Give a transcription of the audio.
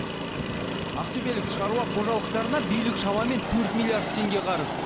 ақтөбелік шаруа қожалықтарына билік шамамен төрт миллиард теңге қарыз